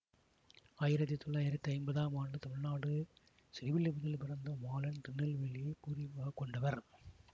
ஆயிரத்தி தொளாயிரத்தி ஐம்பதாம் ஆண்டு தமிழ்நாடு ஸ்ரீவில்லிப்புத்தூரில் பிறந்த மாலன் திருநெல்வேலியைப் பூர்வீகமாகக் கொண்டவர்